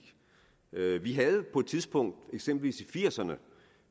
vi havde på et tidspunkt eksempelvis i nitten firs ’erne